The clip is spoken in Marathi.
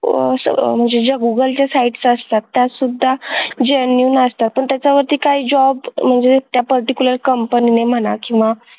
म्हणजे ज्या googlesites असतात त्या सुधा genuine असतात पण त्याच्यामध्ये काही job म्हणजे त्या particular company मध्ये म्हणा किंवा असं